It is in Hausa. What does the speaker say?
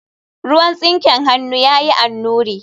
ruwan tsinken hannun ya yi annuri